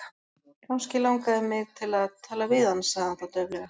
Kannski langaði mig til að tala við hann sagði hann þá dauflega.